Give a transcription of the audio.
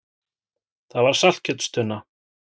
Það var saltkjötstunna.